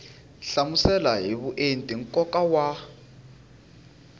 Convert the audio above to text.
hlamusela hi vuenti nkoka wa